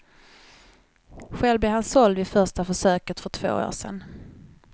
Själv blev han såld vid första försöket för två år sedan.